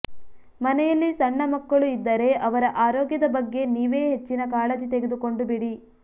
ಮನೆಯಲ್ಲಿ ಸಣ್ಣ ಮಕ್ಕಳು ಇದ್ದರೆ ಅವರ ಆರೋಗ್ಯದ ಬಗ್ಗೆ ನೀವೇ ಹೆಚ್ಚಿನ ಕಾಳಜಿ ತೆಗೆದುಕೊಂಡು ಬಿಡಿ